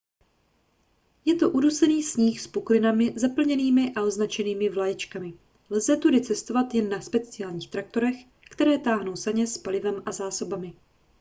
je to udusaný sníh s puklinami zaplněnými a označenými vlaječkami lze tudy cestovat jen na speciálních traktorech které táhnou saně s palivem a zásobami